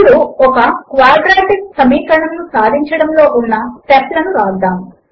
ఇప్పుడు ఒక క్వాడ్రాటిక్ సమీకరణమును సాధించడములో ఉన్న స్టెప్ లను వ్రాద్దాము